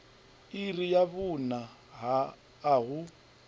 iri ya vhuṋa a hu